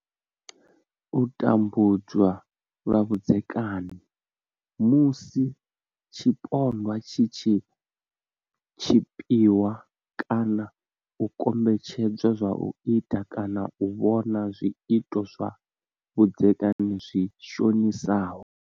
U tambudzwa lwa vhudzekani. Musi tshipondwa tshi tshi tshipiwa kana u kombetshedzwa u ita kana u vhona zwiito zwa vhudzekani zwi shonisaho.